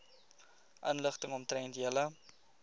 inligting omtrent julle